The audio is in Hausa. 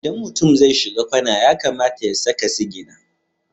Idan mutum zai shiga kwana ya kamata ya saka sigina.